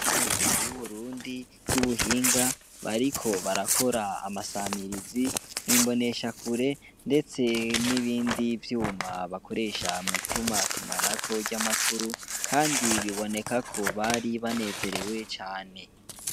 Nuda y'uburundi ry'ubuhinga bariko barakora amasamirizi imbonesha kure, ndetse n'ibindi vyuma bakoresha mwituma tumanako ry'amakuru, kandi bibonekako bari banezerewe cane.